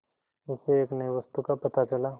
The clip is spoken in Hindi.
उसे एक नई वस्तु का पता चला